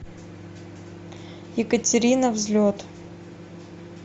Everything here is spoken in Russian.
екатерина взлет